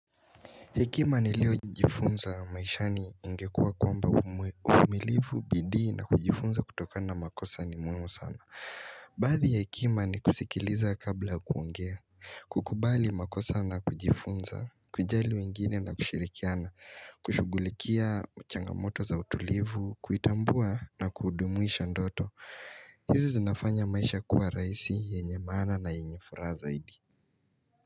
Hekima niliojifunza maishani ingekuwa kwamba uvumilivu, bidii na kujifunza kutokana na makosa ni muhimu sana Baadhi ya hekima ni kusikiliza kabla ya kuongea kukubali makosa na kujifunza, kujali wengine na kushirikiana, kushughulikia changamoto za utulivu, kuitambua na kudumuisha ndoto hizi zinafanya maisha kuwa rahisi, yenye maana na yenye furaha zaidi.